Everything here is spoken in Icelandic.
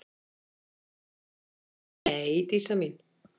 Nei, Dísa mín.